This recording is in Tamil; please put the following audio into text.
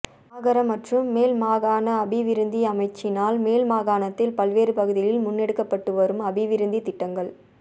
மாகர மற்றும் மேல்மாகாண அபிவிருத்தி அமைச்சினால் மேல் மாகாணத்தில் பல்வேறு பகுதிகளில் முன்னெடுக்கப்பட்டு வரும் அபிவிருத்தி திட்டங்கள்